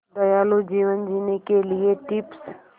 दयालु जीवन जीने के लिए टिप्स